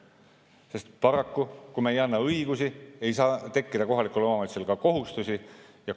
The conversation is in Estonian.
Sest paraku, kui me ei anna õigusi, siis ei saa kohalikel omavalitsustel ka kohustusi tekkida.